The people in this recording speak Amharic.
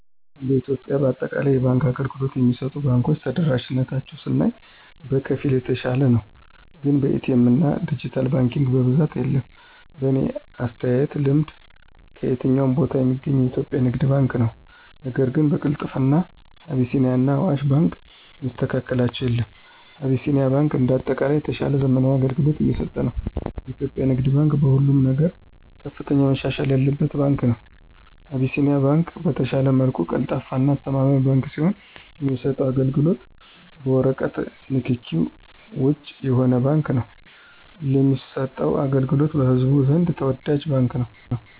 እንደ ኢትዮጵያ በአጠቃላይ የባንክ አገልግሎት የሚሰጡ ባንኮች ተደራሽነታቸውን ስናይ በከፊል የተሻለ ነው ግን በኤ.ቲ. ኤምና ድጅታል ባንኪንግ በብዛት የለም። በኔ አተያይና ልምድ ከየትኛውም ቦታ ሚገኘው የኢትዮጵያ ንግድ ባንክ ነው ነገር ግን በቅልጥፍና አቢሲኒያና አዋሽ ባንክን የሚስተካከላቸው የለም። አቢሲኒያ ባንክ እንደ አጠቃላይ የተሻለና ዘመናዊ አገልግሎት እየሰጠ ነው። የኢትዮጵያ ንግድ ባንክ በሁሉም ነገር ከፍተኛ መሻሻል ያለበት ባንክ ነው። አቢሲኒያ ባንክ በተሻለ መልኩ ቀልጣፋና አስተማማኝ ባንክ ሲሆን የሚሰጠውም አገልግሎት በወረቀት ንክኪ ውጭ የሆነ ባንክ ነው ለሚሰጠው አገልግሎቱም በህዝቡ ዘንድ ተወዳጅ ባንክ ነው።